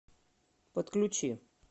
подключи